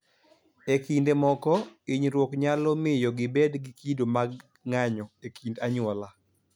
E kinde moko, hinyruok nyalo miyo gibed gi kido mag ng�anjo e kind anyuola,